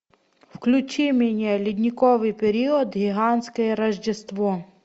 включи мне ледниковый период гигантское рождество